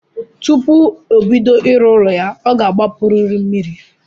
Tupu obodo ịrụ ụlọ ya ọ gbapuru mmiri.